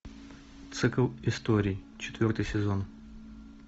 цикл историй четвертый сезон